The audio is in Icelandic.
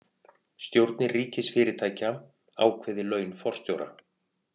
Stjórnir ríkisfyrirtækja ákveði laun forstjóra